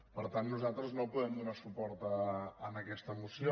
per tant nosaltres no podem donar suport a aquesta moció